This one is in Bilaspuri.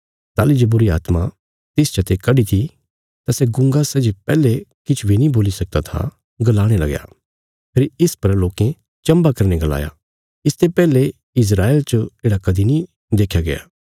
ताहली जे यीशुए बुरीआत्मा जो तिस आदमिये चते बाहर कड्डीत्या तां तिने गुंगे बोलणा शुरू करीत्या फेरी इस पर लोकें चम्भा करीने गलाया इसते पैहले इस्राएल च येढ़ा कदीं नीं देख्या गया